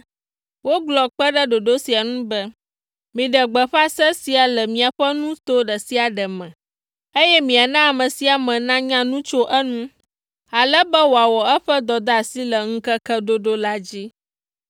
Wogblɔ kpe ɖe ɖoɖo sia ŋu be, “Miɖe gbeƒã se sia le miaƒe nuto ɖe sia ɖe me, eye miana ame sia ame nanya nu tso eŋu, ale be wòawɔ eƒe dɔdeasi le ŋkeke ɖoɖo la dzi.”